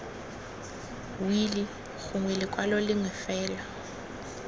wili gongwe lekwalo lengwe fela